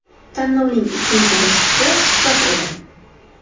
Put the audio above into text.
Tanlovning ikkinchi bosqichi suhbat edi.